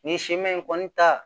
Nin siman in kɔni ta